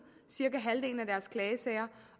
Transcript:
cirka halvdelen af deres klagesager